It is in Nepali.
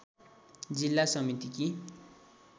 जिल्ला समितिकी